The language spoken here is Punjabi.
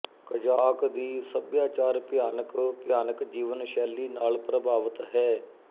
ਕਜ਼ਾਕ ਦੀ ਸੱਭਿਆਚਾਰ ਭਿਆਨਕ ਭਿਆਨਕ ਜੀਵਨ ਸ਼ੈਲੀ ਨਾਲ ਪ੍ਰਭਾਵਤ ਹੈ